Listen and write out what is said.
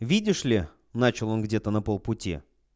видишь ли начал он где-то на полпути